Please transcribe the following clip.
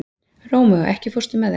Rómeó, ekki fórstu með þeim?